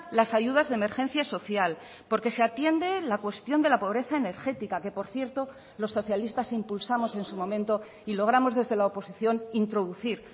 las ayudas de emergencia social porque se atiende la cuestión de la pobreza energética que por cierto los socialistas impulsamos en su momento y logramos desde la oposición introducir